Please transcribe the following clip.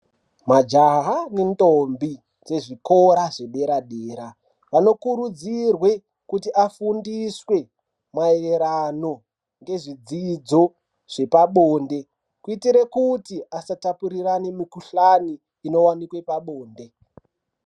Majaha ne ndombi dze zvikora zve dera dera vano kurudzirwe kuti afundiswe maererano nezvi dzidzo zvepa bonde kuitire kuti asa tapurirane mukudhlani inowanikwe pabonde.